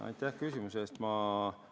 Aitäh küsimuse eest!